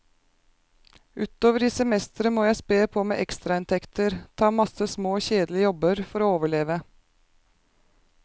Utover i semesteret må jeg spe på med ekstrainntekter, ta masse små, kjedelige jobber for å overleve.